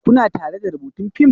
Kuna tare da rubutun fim?